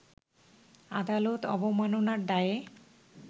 আদালত অবমাননার দায়ে